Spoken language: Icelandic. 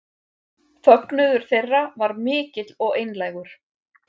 Fögnuður þeirra var mikill og einlægur